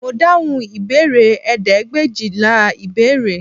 Mo dáhùn ìbéèrè ẹ̀ẹ́dẹ́gbẹ̀éjìlá ìbéèrè